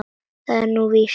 Er það nú víst ?